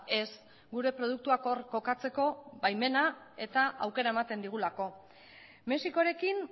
ez gure produktuak hor kokatzeko baimena eta aukera ematen digulako mexikorekin